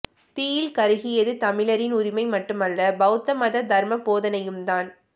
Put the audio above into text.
தீயில் கருகியது தமிழரின் உரிமை மட்டுமல்ல பௌத்த மத தர்ம போதனையும் தான்